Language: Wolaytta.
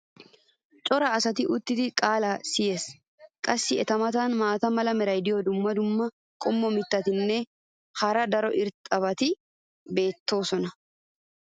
cora asay uttidi qaalaa siyees. qassi eta matan maata mala meray diyo dumma dumma mittatinne hara daro lo'iya irxxabati beettoosona.